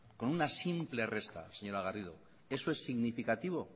con una simple resta señora garrido eso es significativo